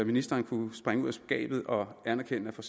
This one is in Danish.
ministeren kunne springe ud af skabet og anerkende at for